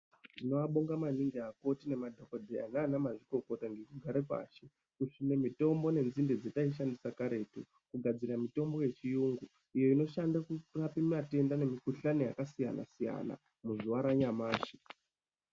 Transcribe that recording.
Tinobonga maningi akoti nemadhokodheya nana mazvikokota nekugare pashi kisvine mitombo nedzinde dzataishandisa karetu kugadzire mitombo yechiyungu. Iyo inoshande kurapa matenda nemikhuhlani yakasiyana siyana muzuwa ranyamashi.